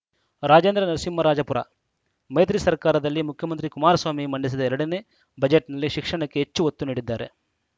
ರಾಜೇಂದ್ರ ನರಸಿಂಹರಾಜಪುರ ಮೈತ್ರಿ ಸರ್ಕಾರದಲ್ಲಿ ಮುಖ್ಯಮಂತ್ರಿ ಕುಮಾರಸ್ವಾಮಿ ಮಂಡಿಸಿದ ಎರಡನೇ ಬಜೆಟ್‌ನಲ್ಲಿ ಶಿಕ್ಷಣಕ್ಕೆ ಹೆಚ್ಚು ಒತ್ತು ನೀಡಿದ್ದಾರೆ